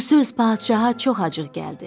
Bu söz padşaha çox acıq gəldi.